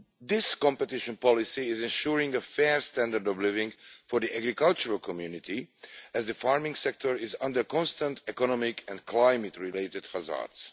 This competition policy is ensuring a fair standard of living for the agricultural community, as the farming sector is under pressure from constant economic and climate related hazards.